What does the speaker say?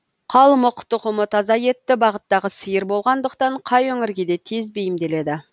қалмық тұқымы таза етті бағыттағы сиыр болғандықтан қай өңірге де тез бейімделеді